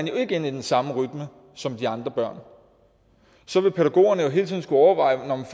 jo ikke ind i den samme rytme som de andre børn så vil pædagogerne jo hele tiden skulle overveje om